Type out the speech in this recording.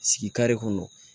Sigi kare kɔnɔ